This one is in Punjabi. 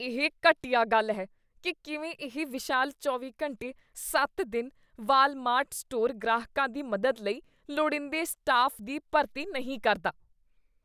ਇਹ ਘਟੀਆ ਗੱਲ ਹੈ ਕੀ ਕਿਵੇਂ ਇਹ ਵਿਸ਼ਾਲ ਚੌਵੀਂ ਘੰਟੇ ਸੱਤ ਦਿਨ ਵਾਲਮਾਰਟ ਸਟੋਰ ਗ੍ਰਾਹਕਾਂ ਦੀ ਮਦਦ ਲਈ ਲੋੜੀਂਦੇ ਸਟਾਫ ਦੀ ਭਰਤੀ ਨਹੀਂ ਕਰਦਾ